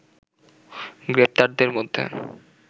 গ্রেপ্তারদের মধ্যে